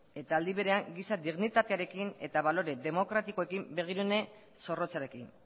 eta aldi berean giza dignitatearekin eta balore demokratikoekin begirune zorrotzarekin